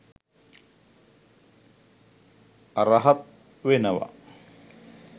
අරහත් වෙනවා